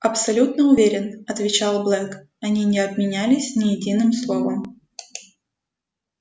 абсолютно уверен отвечал блэк они не обменялись ни единым словом